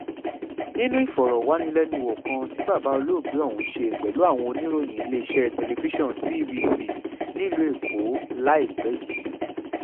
nínú ìfọ̀rọ̀wánilẹ́nuwò kan tí bàbá olóògbé ọ̀hún ṣe pẹ̀lú àwọn oníròyìn iléeṣẹ́ tẹlifíṣàn tvc nílùú èkó láìpẹ́ yìí